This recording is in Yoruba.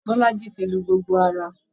Bọ́lájí ti lu gbogbo ara.